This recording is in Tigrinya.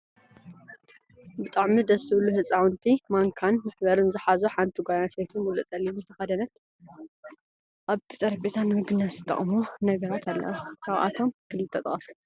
ብጣዕሚ ደስ ዝብሉ ህፃውንቲ ማንካን መሕበርን ዝሓዙን ሓንቲ ጎል ኣንስትየቲ ሙሉእ ፀሊም ዝተከደነትን ኣብቲ ጠረጴዛ ንምግብነት ዝጠቅሙ ነገራት ኣለው። ካብኣቶም ክልተጥቀሱ?